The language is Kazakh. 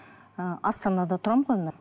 ыыы астанада тұрамын ғой мен